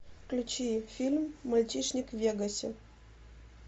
включи фильм мальчишник в вегасе